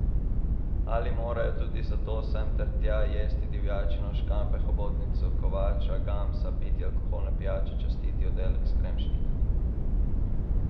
Ali morajo tudi zato sem ter tja jesti divjačino, škampe, hobotnico, kovača, gamsa, piti alkoholne pijače, častiti oddelek s kremšnitami?